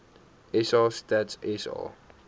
sa stats sa